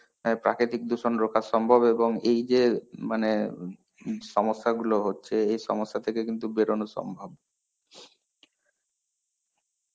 আ প্রাকৃতিক দূষণ রক্ষা সম্ভব, এবং এই যে মানে সমস্যাগুলো হচ্ছে এই সমস্যা থেকে কিন্তু বেরোনো সম্ভব.